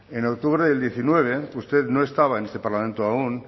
en octubre del diecinueve usted no estaba en este parlamento aún